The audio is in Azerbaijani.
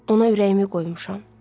Ona ürəyimi qoymuşam.